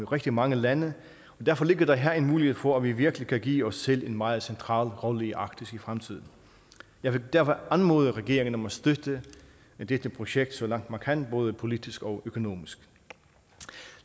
rigtig mange lande og derfor ligger der her en mulighed for at vi virkelig kan give os selv en meget central rolle i arktis i fremtiden jeg vil derfor anmode regeringen om at støtte dette projekt så langt man kan både politisk og økonomisk